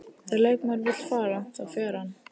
Þegar leikmaður vill fara, þá fer hann.